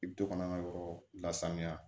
I bi to kana an ka yɔrɔ lasanuya